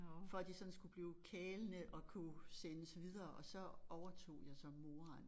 For at de sådan skulle blive kælende og kunne sendes videre og så overtog jeg så moren